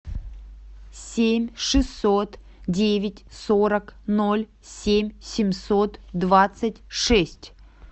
семь шестьсот девять сорок ноль семь семьсот двадцать шесть